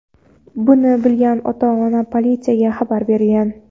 Buni bilgan ota-ona politsiyaga xabar bergan.